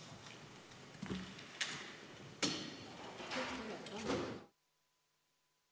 Istungi lõpp kell 13.48.